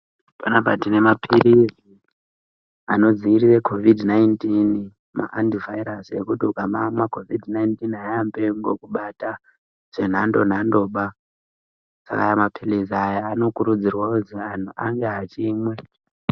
Panapa tine mapirizi Anodzivirira covid 19 maantivirus ekuti ukamamwa covid airambi yekungokubata zvenhando nhando aya mapirizi anokurudzirwa kuti ange achimwiwa.